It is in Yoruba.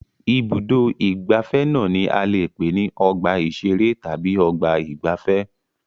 Ibùdó-ìgbafẹ́ náà ni a lè pè ní ọgbà-ìṣeré tàbí ọgbà-ìgbafẹ́.